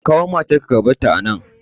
Ka kawo matar ka ka barta a nan!